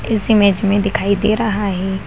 इस इमेज में दिखाई दे रहा है।